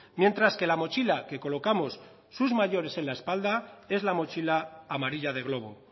mientras que la mochila que colocamos sus mayores en la espalda es la mochila amarilla de glovo